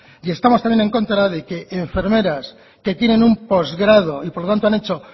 y estamos también en contra de que enfermeras que tienen un postgrado y por lo tanto han hecho